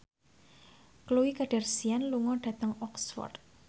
Khloe Kardashian lunga dhateng Oxford